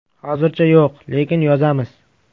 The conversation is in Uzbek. -Hozircha yo‘q, lekin yozamiz.